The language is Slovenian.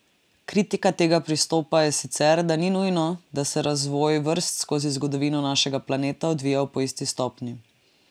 Kritika tega pristopa je sicer, da ni nujno, da se je razvoj vrst skozi zgodovino našega planeta odvijal po isti stopnji.